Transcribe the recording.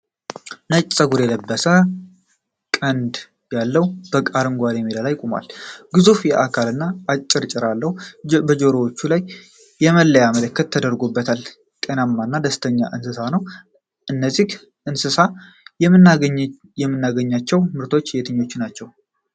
ነጭ ፀጉር የለበሰ፣ ቀንድ ያለው በግ አረንጓዴ ሜዳ ላይ ቆሟል። ግዙፍ አካልና አጭር ጭራ አለው። ጆሮዎቹ ላይ የመለያ ምልክት ተደርጎባቸዋል። ጤናማና ደስተኛ እንስሳ ነው። ከዚህ እንስሳ የምናገኛቸው ምርቶች የትኞቹ ናቸው?